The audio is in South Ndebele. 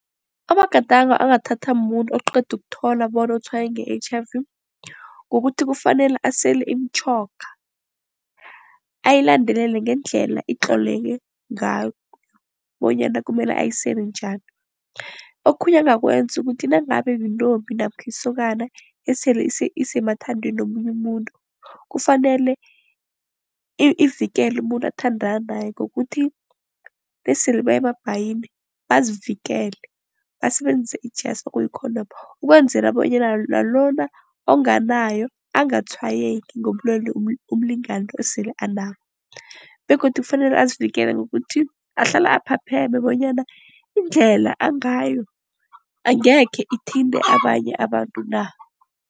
Amagadango angathathwa mumuntu oqeda ukuthola bona utshwayeleke nge-H_I_V kukuthi, kufanele asele imitjhoga. Ayilandelele ngendlela itloleke ngayo bonyana kumele ayisele njani. Okhunye angakwenza kukuthi nangabe yintombi namkha isokana esele isemathandweni nomunye umuntu kufanele ivikele umuntu athandana naye ngokuthi nasele baya emabhayini bazivikele basebenzise ijasi, okuyi-condom. Ukwenzela bonyana nalona onganayo angatshwayeleki ngobulwelobu umlingani lo esele anabo begodu kufanele azivikele ngokuthi ahlale aphapheme bonyana indlela angayo angekhe ithinte abanye abantu na.